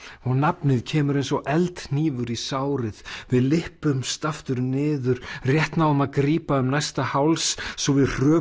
og nafnið kemur eins og í sárið við lyppumst aftur niður rétt náum að grípa um næsta háls svo við hröpum